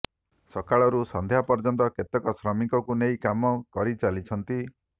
ସକାଳରୁ ସଂଧ୍ୟା ପର୍ଯ୍ୟନ୍ତ କେତେକ ଶ୍ରମିକକୁ ନେଇ କାମ କରିଚାଲିଛନ୍ତି